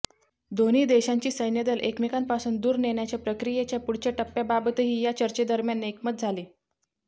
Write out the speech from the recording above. दोन्ही देशांची सैन्यदल एकमेकांपासून दूर नेण्याच्या प्रक्रियेच्या पुढच्या टप्प्याबाबतही या चर्चेदरम्यान एकमत झाले